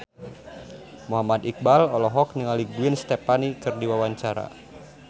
Muhammad Iqbal olohok ningali Gwen Stefani keur diwawancara